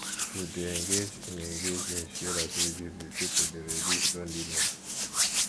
to de engage in engage in shared activities with pipo de reduce loneliness